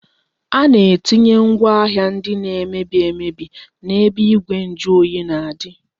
A na-etinye ngwaahịa ndị na-emebi emebi n-ebe igwe njuoyi na-adị